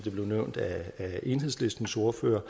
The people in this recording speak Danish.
nævnt af enhedslistens ordfører